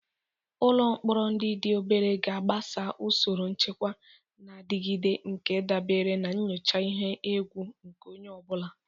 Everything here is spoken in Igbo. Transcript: Ụlọ mkpọrọ ndị dị obere ga-agbaso usoro nchekwa na-adigide nke dabere na nyocha ihe egwu nke onye ọ bụla.